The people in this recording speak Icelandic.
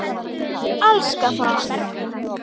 Elska það.